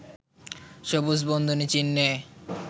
সবুজ বন্ধনী চিহ্নে